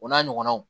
O n'a ɲɔgɔnnaw